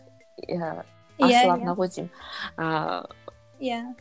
асыл арна ғой деймін ыыы иә